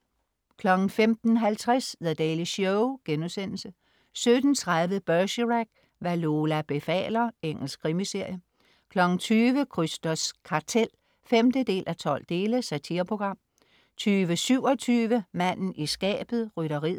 15.50 The Daily Show* 17.30 Bergerac: Hvad Lola befaler. Engelsk krimiserie 20.00 Krysters kartel 5:12. Satireprogram 20.27 Manden i skabet. Rytteriet